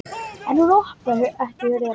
En hún opnar ekki.